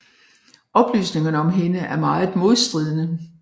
Oplysningerne om hende er meget modstridende